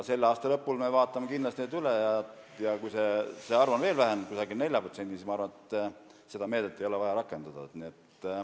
Selle aasta lõpul me vaatame kindlasti andmed üle ja kui see protsent on veel vähenenud, umbes 4%, siis ma arvan, et seda meedet ei ole vaja rakendada.